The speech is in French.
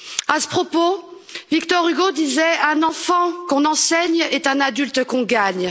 À ce propos, Victor Hugo disait qu'un enfant qu'on enseigne est un adulte qu'on gagne.